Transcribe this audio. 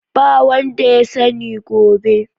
Ba wanda ya sani gobe.